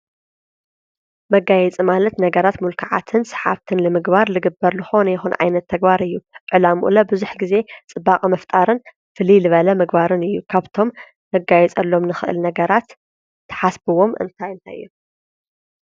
መጋየፂ ማለት ነገራት ምልኩዓትን ሰሓብትን ምግባር ልግበርሉ ልኾነ ይኹን ዓይነት ተግባር እዩ፡፡ ዕላምኡለ ብዙሕ ጊዜ ፅባቐ መፍጣርን ፍልይ ልበለ ምግባርን እዩ፡፡ ካብቶም ነጋይፀሎም ንኽእል ነገራት ተሓስብዎም እንታይ እንታይ እዮም?